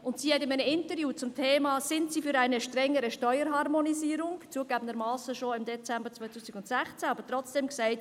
In einem Interview zum Thema «Sind Sie für eine strengere Steuerharmonisierung?» hat sie, zugegebenermassen schon im Dezember 2016, Ja gesagt.